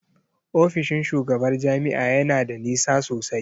Ofishin shugabar jami'a ya na da nisa sosai.